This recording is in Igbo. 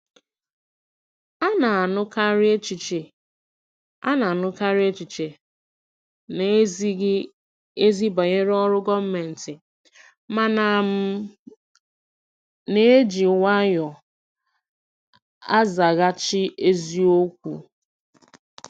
A na-anụkarị echiche A na-anụkarị echiche na-ezighị ezi banyere ọrụ gọọmentị, mana m na-eji nwayọọ azaghachi eziokwu.